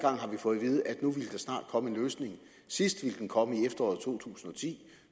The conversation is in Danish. snart komme en løsning sidst ville den komme i efteråret to tusind og ti